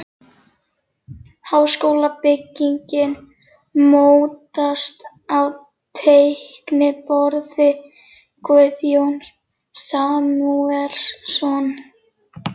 Háskólabyggingin mótast á teikniborði Guðjóns Samúelssonar.